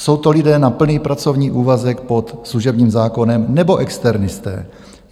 Jsou to lidé na plný pracovní úvazek pod služební zákonem, nebo externisté?